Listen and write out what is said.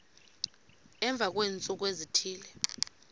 emva kweentsuku ezithile